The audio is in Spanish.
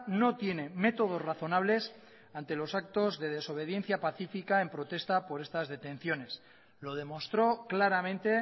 no tiene métodos razonables ante los actos de desobediencia pacífica en protesta por estas detenciones lo demostró claramente